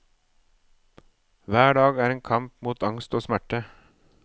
Hver dag er en kamp mot angst og smerter.